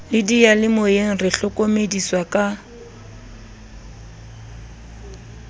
le diyalemoyeng re hlokomediswa ka